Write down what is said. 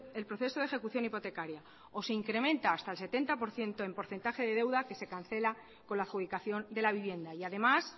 el proceso de ejecución hipotecaria o se incrementa hasta el setenta por ciento el porcentaje de deuda que se cancela con la adjudicación de la vivienda y además